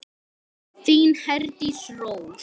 Þín Herdís Rós.